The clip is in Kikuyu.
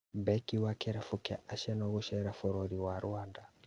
Beki wa kĩrabu kĩa Arsenal gũcera bũrũri wa Rwanda